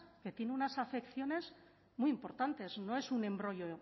que tiene unas afecciones muy importantes no es un embrollo